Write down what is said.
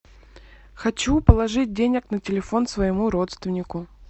хочу положить денег на телефон своему родственнику